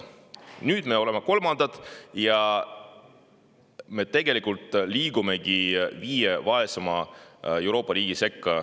Nüüd me oleme kolmandad ja liigume viie vaesema Euroopa riigi sekka.